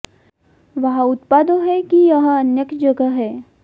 वहाँ उत्पादों है कि यह अन्य की जगह है